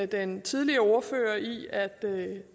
den tidligere ordfører i at